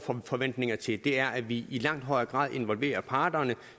forventninger til er at vi i langt højere grad involverer parterne